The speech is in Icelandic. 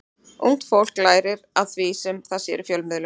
Ungt fólk lærir af því sem það sér í fjölmiðlum.